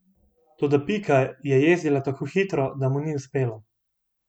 Toda Pika je jezdila tako hitro, da mu ni uspelo.